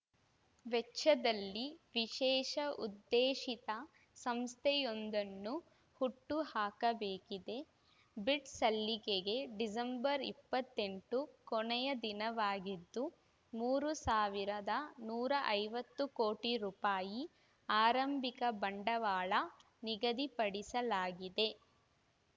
ವೆಚ್ಚದಲ್ಲಿ ವಿಶೇಷ ಉದ್ದೇಶಿತ ಸಂಸ್ಥೆಯೊಂದನ್ನು ಹುಟ್ಟು ಹಾಕಬೇಕಿದೆ ಬಿಡ್‌ ಸಲ್ಲಿಕೆಗೆ ಡಿಸೆಂಬರ್ ಇಪ್ಪತ್ತೆಂಟು ಕೊನೆಯ ದಿನವಾಗಿದ್ದು ಮೂರು ಸಾವಿರದ ನೂರ ಐವತ್ತು ಕೋಟಿ ರೂಪಾಯಿ ಆರಂಭಿಕ ಬಂಡವಾಳ ನಿಗದಿಪಡಿಸಲಾಗಿದೆ